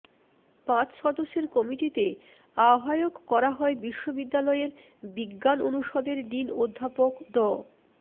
পাঁচ সদস্যের কমিটিতে আহ্বায়ক করা হয় বিশ্ববিদ্যালয়ের বিজ্ঞান অনুষদের ডিন অধ্যাপক ড